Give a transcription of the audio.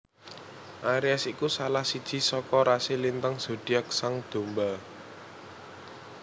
Aries iku salah siji saka rasi lintang zodiak sang domba